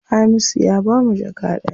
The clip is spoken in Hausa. Hamisu ya bamu jaka ɗaya.